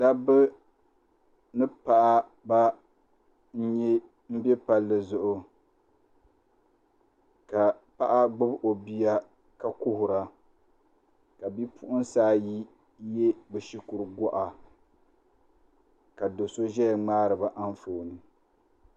Dabba ni paɣaba n bɛ palli zuɣu ka paɣa gbubi o bia ka kuhura ka bipuɣunsi ayi yɛ bi shikuru goɣa ka do so ʒɛya ŋmaariba anfooni